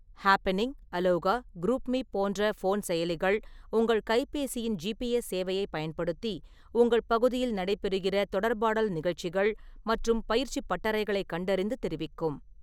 Happening, Aloha, GroupMe போன்ற phone செயலிகள் உங்கள் கைபேசியின் ஜிபிஎஸ் சேவையைப் பயன்படுத்தி உங்கள் பகுதியில் நடைபெறுகிற தொடர்பாடல் நிகழ்ச்சிகள் மற்றும் பயிற்சிப் பட்டறைகளைக் கண்டறிந்து தெரிவிக்கும்.